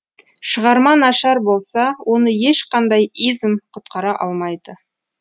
шығарма нашар болса оны ешқандай изм құтқара алмайды